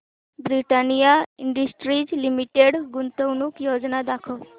Britannia industries limited गुंतवणूक योजना दाखव